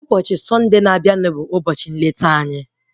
Ụbọchị sọnde na-abịa bụ visitin anyị